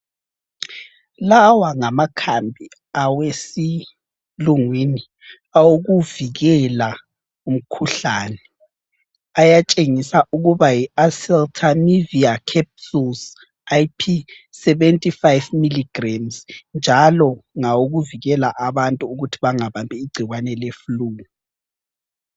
Lawa ngamakhambi awesilungwini awokuvikela umkhuhlane. Ayatshengisa ukuba yiOseltamivir Capsules IP 75 mg, njalo ngawokuvikela abantu ukuthi bangabambi igcikwane le flue.